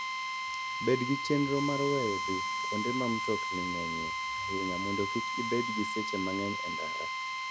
Bed gi chenro mar weyo dhi kuonde ma mtokni ng'enyie ahinya mondo kik ibed gi seche mang'eny e ndara.